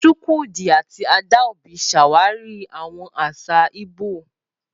Chukwudi àti Adaobi ṣàwárí àwọn àṣà Igbo.